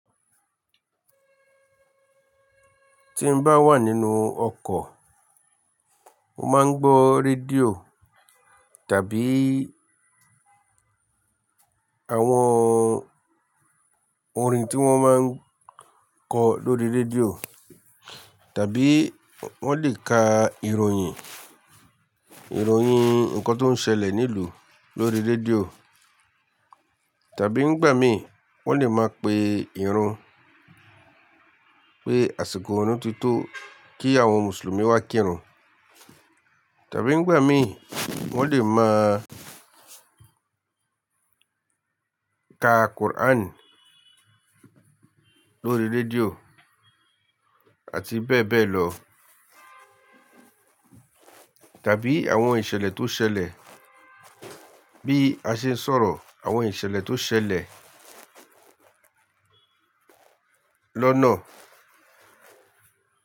Ti n bá wà nínú ọkọ̀, mo máa ń gbọ́ rédíò tàbí àwọn orin tí wọ́n máa ń kọ lóri rédíò, tàbí wọ́n lè ka ìròyìn, ìròyìn ǹkan tó ń ṣẹlẹ̀ nílùú lórí rédíò, tàbí nígbà mí wọ́n lè máa pe ìrun pé àsìkò ọ̀run tí tó kí àwọn mùsùlùmí wá kírun, tàbí nígbà mí wọ́n lè máa ka Quran lórí rédíò àti bẹ́ẹ̀ bẹ́ẹ̀ lọ, tàbí àwọn ìṣẹ̀lẹ̀ tó ń ṣẹlẹ̀ bí a ṣe ń sọ̀rọ̀, àwọn ìṣẹ̀lẹ̀ tó ń ṣẹlẹ̀ lọ́nà.